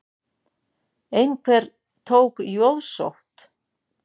Einhver tók jóðsótt.